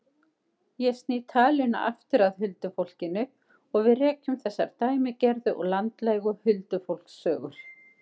Ég sný talinu aftur að huldufólkinu og við rekjum þessar dæmigerðu og landlægu huldufólkssögur.